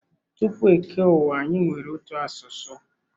Tupu e kee ụwa anyi nwere otu asụsụ.